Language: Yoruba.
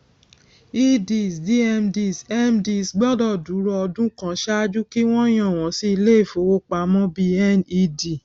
eds dmds mds gbọdọ dúró ọdún kan ṣáájú kí wọn yàn wọn sí ilé ìfowópamọ bí ned